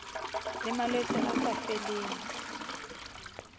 le malwetse a sa feleng